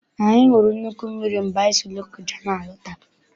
Anyị hụrụ nnukwu mmiri mgbe anyị si Lokoja n'alata.